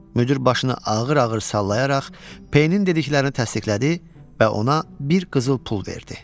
Müdir başını ağır-ağır sallayaraq P-nin dediklərini təsdiqlədi və ona bir qızıl pul verdi.